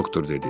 Doktor dedi: